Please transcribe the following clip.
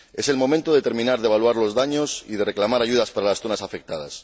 Es el momento de terminar de evaluar los daños y de reclamar ayudas para las zonas afectadas.